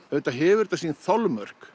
auðvitað hefur þetta sín þolmörk